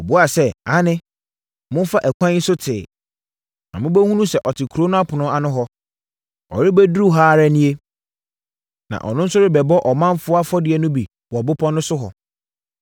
Wɔbuaa sɛ, “Aane. Momfa ɛkwan yi so tee, na mobɛhunu sɛ ɔte kuro no apono ano hɔ. Ɔrebɛduru ha ara nie, na ɔno nso rebɛbɔ ɔmanfoɔ afɔdeɛ no bi wɔ bepɔ no so hɔ.